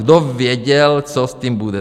Kdo věděl, co s tím bude?